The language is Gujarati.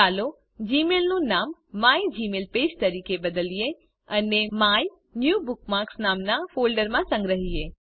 ચાલો જીમેઇલ નું નામ મિગમેલપેજ તરીકે બદલીએ અને માયન્યુબુકમાર્ક્સ નામના ફોલ્ડરમાં સંગ્રહીએ